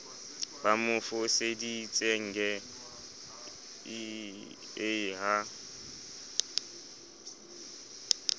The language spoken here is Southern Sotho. ba mo foseditsenge ie ha